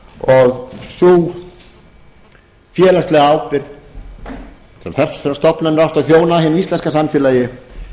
og sú félagslega ábyrgð sem þessar stofnanir áttu að þjóna hinu íslenska samfélagi